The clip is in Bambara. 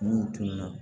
N'u tora